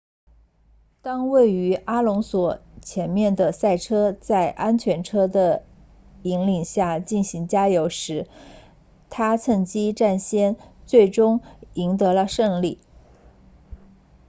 当位于阿隆索前面的赛车在安全车的引领下进行加油时他趁机抢先最终赢得了胜利